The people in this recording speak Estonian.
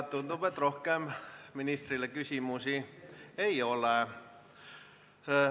Tundub, et rohkem ministrile küsimusi ei ole.